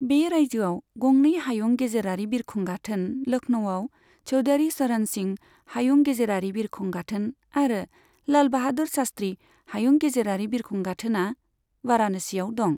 बे रायजोआव गंनै हायुं गेजेरारि बिरखं गाथोन लखनऊआव चौधारि चरण सिं हायुं गेजेरारि बिरखं गाथोन आरो लाल बाहादुर शास्त्रि हायुं गेजेरारि बिरखं गाथोना वारानासियाव दं।